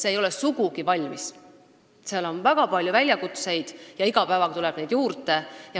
See ei ole sugugi valmis, seal on väga palju probleeme, iga päev tuleb neid juurde.